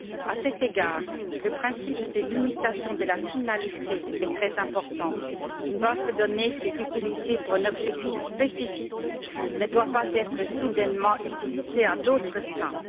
À cet égard, le principe de limitation de la finalité est très important une base de données qui est utilisée pour un objectif spécifique ne doit pas être soudainement utilisée à d'autres fins.